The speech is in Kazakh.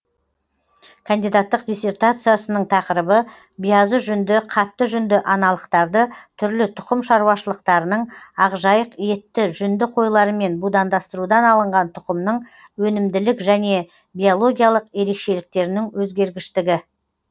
кандидаттық диссертациясының тақырыбы биязы жүнді қатты жүнді аналықтарды түрлі тұқым шаруашылықтарының ақжайық етті жүнді қойларымен будандастырудан алынған тұқымның өнімділік және биологиялық ерекшеліктерінің өзгергіштігі